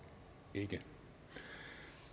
ikke